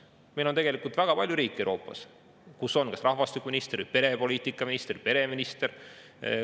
Tegelikult on Euroopas väga palju riike, kus on kas rahvastikuminister, perepoliitika minister või pereminister.